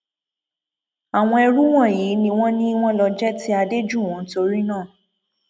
àwọn ẹrú wọnyí ni wọn ni wọn lọ jẹ ti adéjúwọn torino